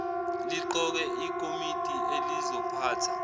liqoke ikomidi elizophatha